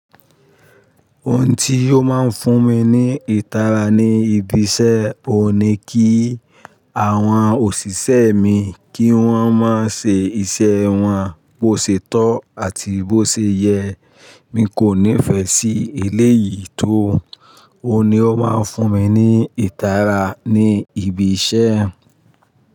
Ohun tí ó máa ń fún mi ní ìtara ní ibi iṣẹ́, ò ní kí àwọn òṣìṣẹ́ mi kí wọ́n máa ṣe iṣẹ́ wọn bó ṣètọ́ àti bó ṣe yẹ. Mi kò nífẹ̀ẹ́ sí eléyìí tó. Ó ni ó máa ń fún mi ní ìtara ní ibi iṣẹ́.